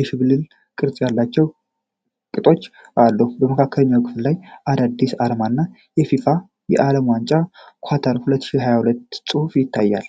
የሽብልቅ ቅርጽ ያላቸው ቅጦች አሉት። የመካከለኛው ክፍል ላይ የአዲዳስ አርማ እና የፊፋ የዓለም ዋንጫ ኳታር 2022 ጽሑፍ ይታያል።